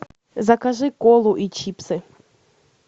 закажи колу и чипсы